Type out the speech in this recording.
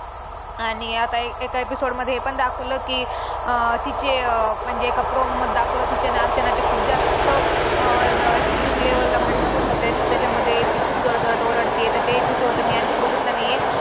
आणि आता एका episode मध्ये हे पण दाखवलं की अं तिचे अं म्हणजे एका promo मध्ये दाखवलं तिचे आणि अर्चनाचे खूप जास्त अं extreme level ला भांडणं पण होत्यात त्याच्यामध्ये ती खूप जोरजोरात ओरडते तर ते episode तर मी आणखी बघितला नाही आहे.